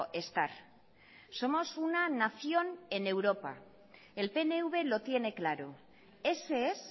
estar somos una nación en europa el pnv lo tiene claro ese es